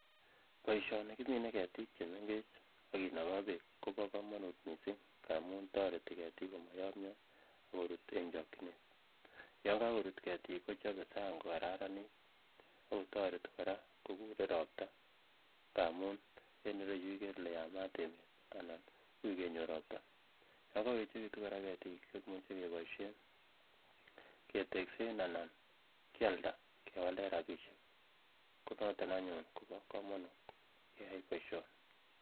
Boisioni kimine ketiik chemengech ak kinokoo beek kobo komonut missing amun tororetii ketiik komoyomyo akorut eng chokyinet yan kakorut ketiik kochobe sang kokararanit ak kotoreti kora kokure ropta amun eng yuu ikere ile yamat emet anan uui kenyor ropta yan kakoyechekitu kora ketiik kemuche keboisyen keteksen anan kyalda kewalen rapisiek konoton anyun asikobo komonut keyai boisioni